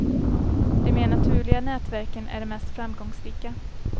De mer naturliga nätverken är de mest framgångsrika.